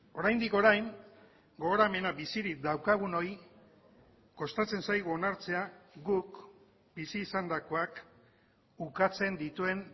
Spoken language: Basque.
oraindik orain gogoramena bizirik daukagunoi kostatzen zaigu onartzea guk bizi izandakoak ukatzen dituen